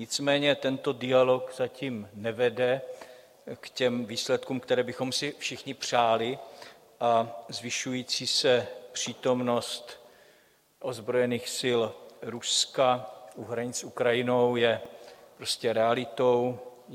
Nicméně tento dialog zatím nevede k těm výsledkům, které bychom si všichni přáli, a zvyšující se přítomnost ozbrojených sil Ruska u hranic s Ukrajinou je prostě realitou.